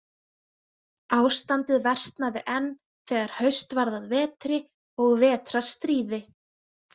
Ástandið versnaði enn þegar haust varð að vetri og vetrarstríði.